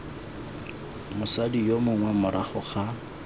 mosadi yo mongwe morago ga